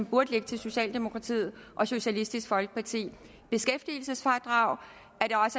burde ligge til socialdemokratiet og socialistisk folkeparti det beskæftigelsesfradrag